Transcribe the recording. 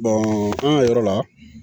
an ka yɔrɔ la